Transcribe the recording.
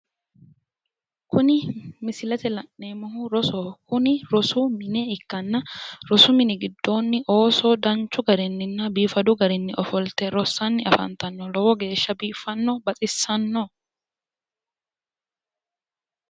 kuni misilete aana la'neemmohu rosoho kuni rosu mmine ikkanna osu mini giddoonni ooso danchu garinni biifadu garinni ofolte rossanni afantanno lowo geeshsha biiffanno baxissanno